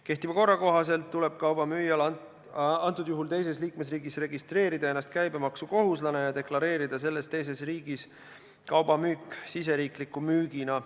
Kehtiva korra kohaselt tuleb kauba müüjal teises liikmesriigis registreerida ennast käibemaksukohuslasena ja deklareerida selles teises riigis kauba müük siseriikliku müügina.